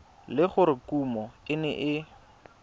le gore kumo e ne